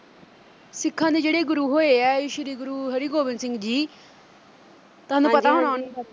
ਸਿੱਖਾਂ ਦੇ ਜਿਹੜੇ ਗੁਰੂ ਹੋਏ ਐ ਸ਼੍ਰੀ ਗੁਰੂ ਹਰਿਗੋਬਿੰਦ ਸਿੰਘ ਜੀ। ਤੁਹਾਨੂੰ ਪਤਾ ਹੋਣਾ ਉਨ੍ਹਾਂ ਬਾਰੇ